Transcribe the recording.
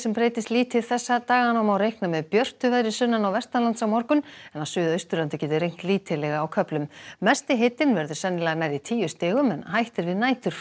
breytist lítið þessa dagana og má reikna með björtu veðri sunnan og vestanlands á morgun en á Suðausturlandi getur rignt lítillega á köflum mesti hitinn verður sennilega nærri tíu stigum en hætt er við